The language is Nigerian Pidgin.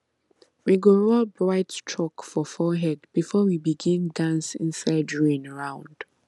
we go rub white chalk for forehead before we begin dance inside rain round